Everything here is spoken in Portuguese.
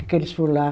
O que eles foram lá.